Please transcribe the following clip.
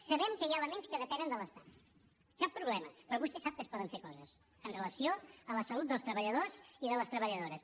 sabem que hi ha elements que depenen de l’estat cap problema però vostè sap que es poden fer coses amb relació a la salut dels treballadors i de les treballadores